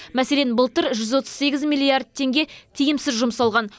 мәселен былтыр жүз отыз сегіз миллиард теңге тиімсіз жұмсалған